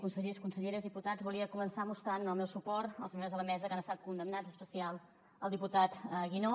consellers conselleres diputats volia començar mostrant el meu suport als membres de la mesa que han estat condemnats en especial al diputat guinó